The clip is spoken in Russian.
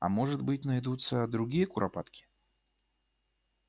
а может быть найдутся другие куропатки